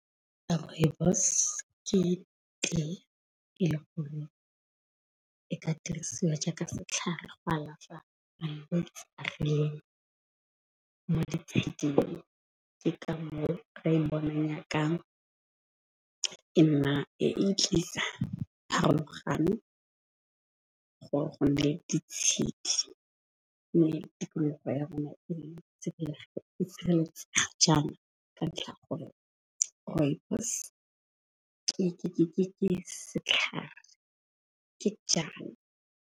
Rooibos ke tle e le kgolo e ka dirisiwa jaaka setlhare go alafa malwetse le . Ke ka moo re bonang nyakang e nna e tlisa pharologano gore go ne ditshedi. Mme tikologo ya rona itshireletsa jang ka ntlha ya gore rooibos ke setlhare ke jang .